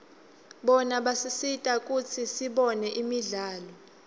bona basisita kutsi sibone imidlalo